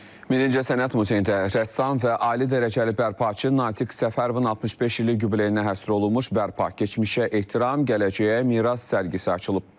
Birinci sənət muzeyində rəssam və ali dərəcəli bərpaçı Natiq Səfərovun 65 illik yubileyinə həsr olunmuş Bərpa: Keçmişə Ehtiram, Gələcəyə Miras sərgisi açılıb.